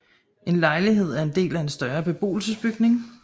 En lejlighed er en del af en større beboelsesbygning